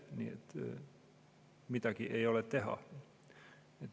Nii et midagi ei ole teha.